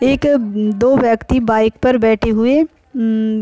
एक दो व्यक्ति बाइक पर बैठे हुए है उम्म --